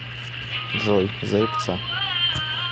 джой заебца